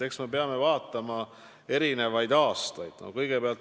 Eks me peame vaatama erinevaid aastaid.